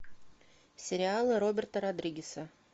сериалы роберта родригеса